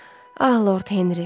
Ah Lord Henri.